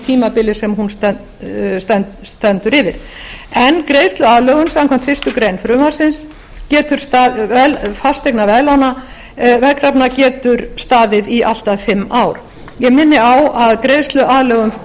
tímabili sem hún stendur yfir en greiðsluaðlögun fasteignaveðkrafna getur staðið í allt að fimm ár ég minni á að